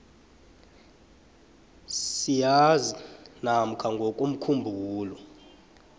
sisazi namkha ngokomkhumbulo